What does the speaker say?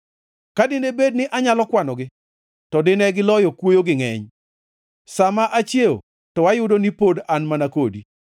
Ka dine bed ni anyalo kwanogi, to dine giloyo kuoyo gi ngʼeny. Sa ma achiew to ayudo ni pod an mana kodi.